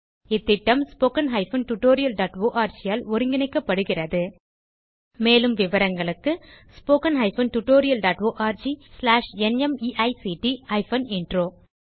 இந்த திட்டம் httpspoken tutorialorg ஆல் ஒருங்கிணைக்கப்படுகிறது மேலும் விவரங்களுக்கு httpspoken tutorialorgNMEICT Intro